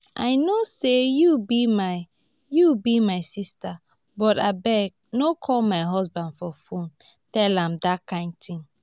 i know say you be my you be my sister but abeg no call my husband for phone tell am dat kin thing